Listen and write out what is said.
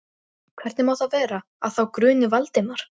Hvernig má þá vera, að þá gruni Valdimar?